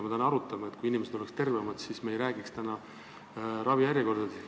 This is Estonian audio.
Kui inimesed oleksid tervemad, siis me ei räägiks täna ravijärjekordadest.